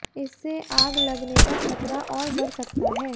इससे आग लगने का खतरा और बढ़ सकता है